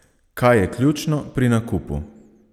Kaj je ključno pri nakupu?